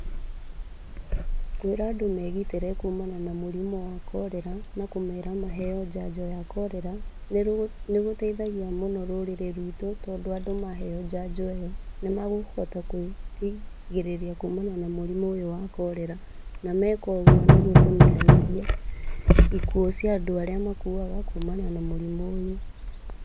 Kwĩra andũ megitĩre kumana na mũrimũ wa korera na kũmera maheo njanjo ya korera nĩgũteithagia mũno rũrĩrĩ ruitũ, tondũ andũ maheo njanjo ĩyo nĩmakũhota kwĩrigĩrĩria kumana na mũrimũ ũyũ wa korera. Meka ũguo nĩmekũnyihanyihia ikuũ cia andũ arĩa makuaga kumana na mũrimũ ũyũ.